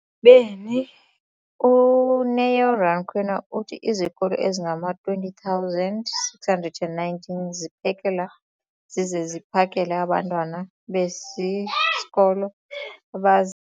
beni, uNeo Rakwena, uthi izikolo ezingama-20 619 ziphekela zize ziphakele abantwana besisikolo abazi-